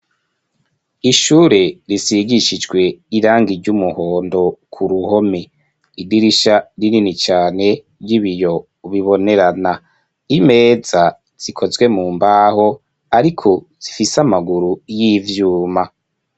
Ishure risigishijwe irangi ry'umuhondo ku ruhome idirisha rinini cane ry'ibiyo bibonerana imeza zikozwe mu mbaho ariko zifise amaguru y'ivyuma.